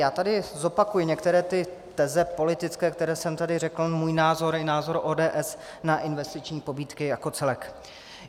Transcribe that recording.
Já tady zopakuji některé ty teze politické, které jsem tady řekl, svůj názor i názor ODS na investiční pobídky jako celek.